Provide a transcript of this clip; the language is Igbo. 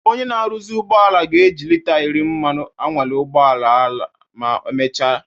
Onye na-arụzi ụgbọala ga-eji lita iri mmanụ anwale ụgbọ ala ma emechaa